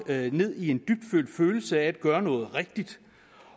ned i en dybtfølt følelse af at gøre noget rigtigt